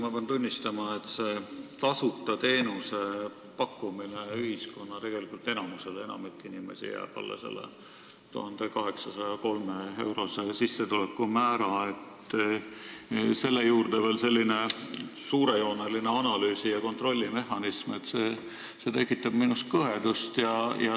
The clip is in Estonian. Ma pean tunnistama, et see tasuta teenuse pakkumine suuremale osale ühiskonnast – enamiku inimeste sissetulek jääb alla 1803-eurose määra – ja selle juurde veel suurejooneline analüüsi- ja kontrollimehhanism tekitab minus kõhedust.